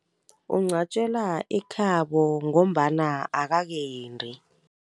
Ungcwatjelwa ekhabo ngombana akakendi.